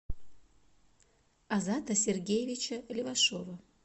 азата сергеевича левашова